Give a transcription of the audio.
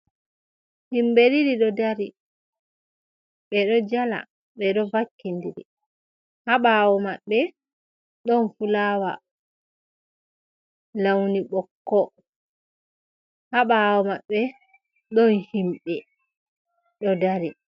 Himɓe ɗiɗi ɗo dari, ɓe ɗo jala, ɓe ɗo vakki ndiri, ha ɓawo maɓbe ɗon fulawa launi bokko, ha ɓawo maɓɓe ɗon himɓe ɗo dari.